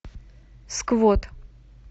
сквот